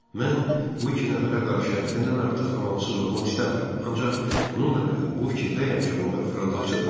Mən bu iki nəfərə qarşı həddən artıq amansız olmaq istəmirəm, ancaq bununla belə bu fikirdəyəm ki, onlar fırıldaqçıdırlar.